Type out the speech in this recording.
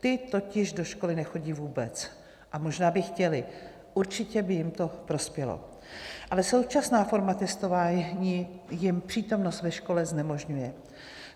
Ti totiž do školy nechodí vůbec - a možná by chtěli, určitě by jim to prospělo, ale současná forma testování jim přítomnost ve škole znemožňuje.